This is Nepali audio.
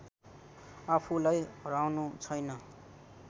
आफूलाई हराउनु छैन